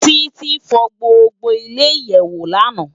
Titi fò gbógbó ile iyèwó làná